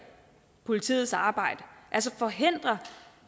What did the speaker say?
politiets arbejde altså forhindre